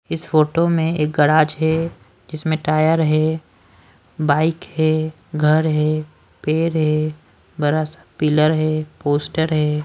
इस फोटो में एक गैराज है जिसमें टायर है बाइक है घर है पेड़ है बरा सा पिलर है पोस्टर है।